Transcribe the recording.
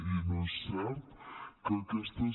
i no és cert que aquestes